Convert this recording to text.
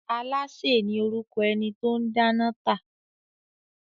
Alááṣè ni orúkọ ẹni tó o n dáná tà